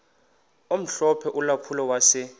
omhlophe ulampulo wase